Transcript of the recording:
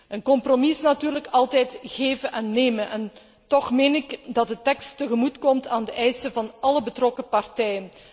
Een compromis is natuurlijk altijd geven en nemen, en toch meen ik dat de tekst tegemoetkomt aan de eisen van alle betrokken partijen.